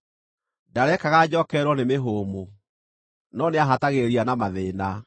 Ndarekaga njookererwo nĩ mĩhũmũ, no nĩahatagĩrĩria na mathĩĩna.